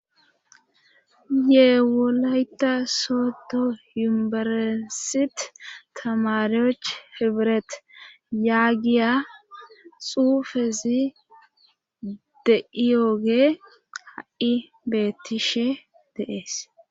yeewolayta sooto yumberesit tamaryoch hibret yaagiya xuufezi de7iyooge ha7i beettishe deees